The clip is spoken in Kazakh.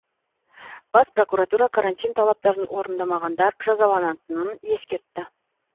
бас прокуратура карантин талаптарын орындамағанадар жазаланатынын ескертті